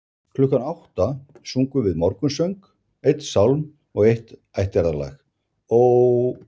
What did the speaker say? Klukkan átta sungum við morgunsöng, einn sálm og eitt ættjarðarlag: Ó